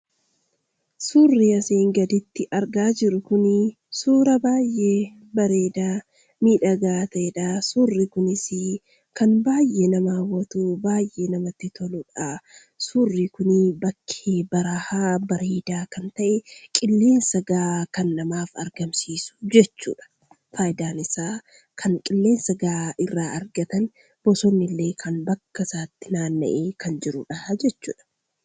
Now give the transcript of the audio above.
Suurri asiin gaditti argaa jirru kunii suuraa baay'ee bareeda, miidhaga ta'edha. suurri kunis kan baay'ee nama hawwatu, baay'ee namatti toludha. suurri kun bakkee baraa'a bareeda kan ta'e, qilleensa ga'aa kan namaaf argamsiisu jechudha. faayidaan isaa kan qilleensa ga'aa irraa argatan, bosonillee bakkasaatti naanna'ee kan jirudha jechudha.